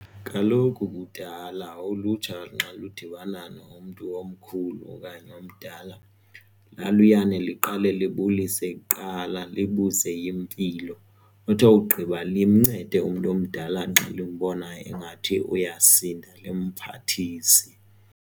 Kaloku kudala ulutsha nxa ludibana nomntu omkhulu okanye omdala laluyane liqale libulise kuqala libuze impilo uthi wogqiba limncede umntu omdala nxa limbona engathi uyasindwa limphathise.